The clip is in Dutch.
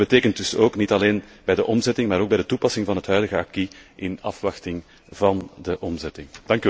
En dat betekent dus ook niet alleen bij de omzetting, maar ook bij de toepassing van het huidige acquis in afwachting van de omzetting.